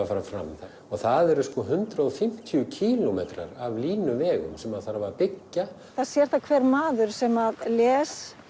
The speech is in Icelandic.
að fara fram og það eru sko hundrað og fimmtíu kílómetrar af línuvegum sem þarf að byggja það sér það hver maður sem les